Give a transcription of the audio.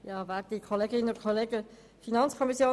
Kommissionssprecherin der FiKo.